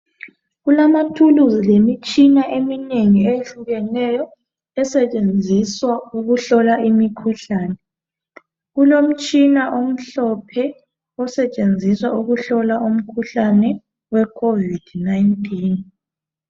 Kulama thuluzi lemitshina eminengi eukeneyo esetshenziswa ukuhlola umkhuhlane kulemi tshina eminengi eyehlukeneyo esetshenziswa ukuhlola i covid 19